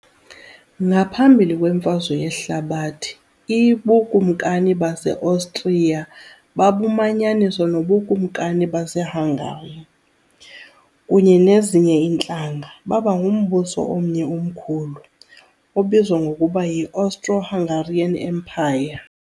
Ngaphambili kweMfazwe Yehlabathi I, uBukumkani baseOstriya babumanyaniswa noBukumkani baseHungary, kunye nezinye iintlanga, baba ngumbuso omnye omkhulu, obizwa ngokuba yi "Austro-Hungarian Empire"